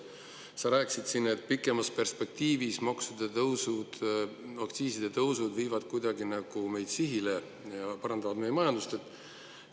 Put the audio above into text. Sa rääkisid siin, et pikemas perspektiivis maksude tõusud ja aktsiiside tõusud viivad meid sihile ja parandavad meie majanduse seisu.